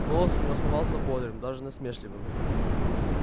голос у неё оставался бодрым даже насмешливым